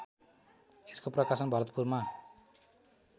यसको प्रकाशन भरतपुमा